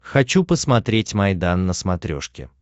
хочу посмотреть майдан на смотрешке